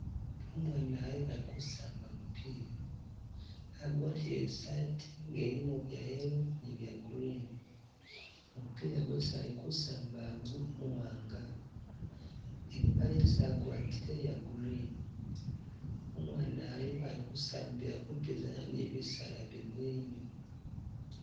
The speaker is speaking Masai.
Umwana uyu aliku samba mupila, agwatile isaati nga ilimo bya yellow ni bya green, mupila gwesi alikusamba igu muwanga, ipale esi agwatile ya green, umwana iyu ali kusambila kupizana ni bisaala bimuli inyuma.